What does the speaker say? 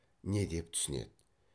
не деп түсінеді